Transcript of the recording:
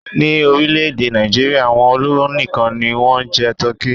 Ní orílẹ̀-èdè Nàìjíríà, àwọn olówó nìkan ni wọ́n ń jẹ tọ́kì.